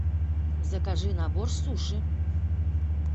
закажи набор суши